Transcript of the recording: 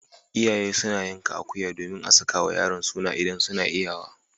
Iyaye suna yanka akuya domin a sakawa yaron suna idan suna iyawa.